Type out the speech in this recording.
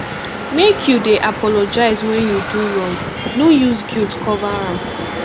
make you dey apologize wen you do wrong no use guilt cover am